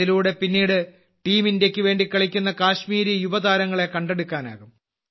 ഇതിലൂടെ പിന്നീട് ടീം ഇന്ത്യയ്ക്ക് വേണ്ടി കളിക്കുന്ന കശ്മീരിയുവതാരങ്ങളെ കണ്ടെടുക്കാനാകും